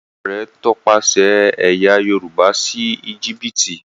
Ìtàn rẹ tọpasẹ ẹyà yorùbá sí Egipti.